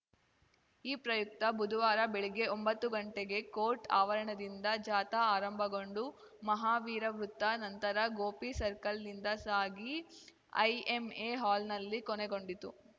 ಈ ಪ್ರಯುಕ್ತ ಬುಧವಾರ ಬೆಳಗ್ಗೆ ಒಂಬತ್ತು ಗಂಟೆಗೆ ಕೋರ್ಟ್‌ ಆವರಣದಿಂದ ಜಾಥಾ ಆರಂಭಗೊಂಡು ಮಹಾವೀರ ವೃತ್ತ ನಂತರ ಗೋಪಿ ಸರ್ಕಲ್‌ನಿಂದ ಸಾಗಿ ಐಎಮ್‌ಎ ಹಾಲ್‌ನಲ್ಲಿ ಕೊನೆಗೊಂಡಿತು